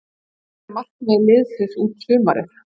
Hvert er markmið liðsins út sumarið?